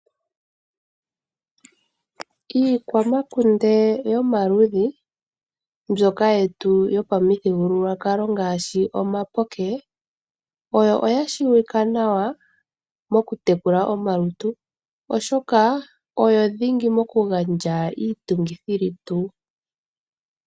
Iikwamakunde yomaludhi mbyoka yetu yopamuthigululwakalo ngaashi omapoke oyo ya tseyika nawa moku tekula omalutu oshoka dhingi mokugandja iitungithilutu.